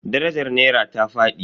Darajar nera ta fadi.